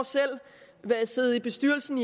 jeg i siddet i bestyrelsen